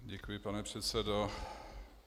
Děkuji, pane předsedo.